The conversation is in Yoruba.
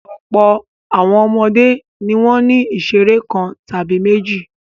Ọ̀pọ̀ àwọn ọmọdé ni wọ́n ní ìṣeré kan tàbí méjì.